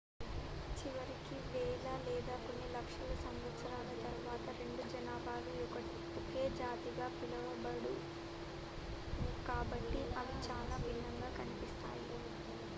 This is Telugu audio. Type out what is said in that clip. చివరికి వేల లేదా కొన్ని లక్షల సంవత్సరాల తరువాత రెండు జనాభాలు ఒకే జాతిగా పిలవబడవు కాబట్టి అవి చాలా భిన్నంగా కనిపిస్తాయి